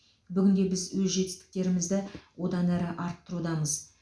бүгінде біз өз жетістіктерімізді одан әрі арттырудамыз